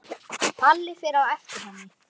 Palli fer á eftir henni.